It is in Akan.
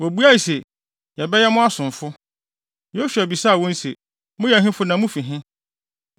Wobuae se, “Yɛbɛyɛ mo asomfo.” Yosua bisaa wɔn se, “Moyɛ ɛhefo na mufi he?”